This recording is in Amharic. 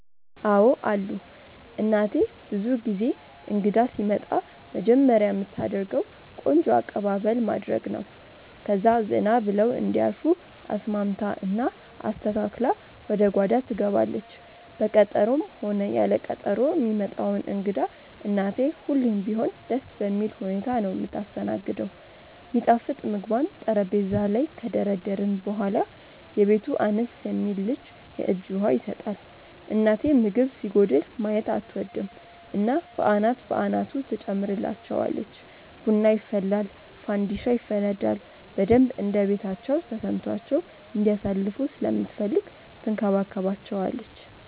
አዎ አሉ። እናቴ ብዙ ጊዜ እንግዳ ሲመጣ መጀመርያ ምታደርገው ቆንጆ አቅባበል ማድረግ ነው፣ ከዛ ዘና ብለው እንዲያርፉ አስማምታ እና አስተካክላ ወደ ጓዳ ትገባለች። በቀጠሮም ሆነ ያለ ቀጠሮ ሚመጣውን እንግዳ እናቴ ሁሌም ቢሆን ደስ በሚል ሁኔታ ነው ምታስተናግደው። ሚጣፍጥ ምግቧን ጠረጴዛ ላይ ከደረደርን በኋላ፣ የቤቱ አነስ የሚል ልጅ የእጅ ውሃ ይሰጣል። እናቴ ምግብ ሲጎድል ማየት አትወድም እና በአናት በአናቱ ትጨምርላቸዋለች። ቡና ይፈላል ፋንዲሻ ይፈነዳል፣ በደንብ እንደቤታቸው ተሰምቷቸው እንዲያሳልፉ ስለምትፈልግ ትንከባከባቸዋለች።